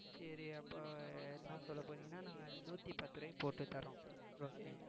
சரி அப்ப என்ன சொல்லப் போறீங்கன்னா நான் நூத்தி பத்து ரூபாய்க்கு போட்டு தர்றோம் okay